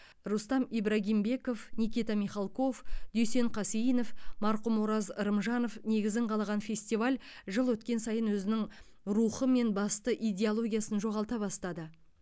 рустам ибрагимбеков никита михалков дүйсен қасейінов марқұм ораз рымжанов негізін қалаған фестиваль жыл өткен сайын өзінің рухы мен басты идеологиясын жоғалта бастады